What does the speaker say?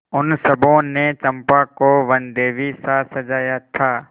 उन सबों ने चंपा को वनदेवीसा सजाया था